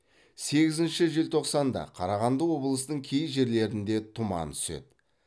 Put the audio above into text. сегізінші желтоқсанда қарағанды облысының кей жерлерінде тұман түседі